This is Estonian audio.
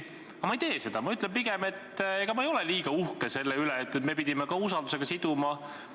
Aga ma ei tee seda, ma ütlen pigem, et ega ma ei ole uhke selle üle, et me pidime ka usaldusküsimusega siduma.